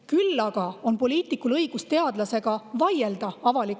Küll aga on poliitikul õigus teadlasega avalikus ruumis vaielda.